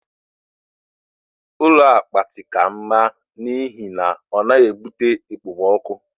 Ụlọ apịtị ka mma n'ihi na ọ naghị ebute okpomọkụ.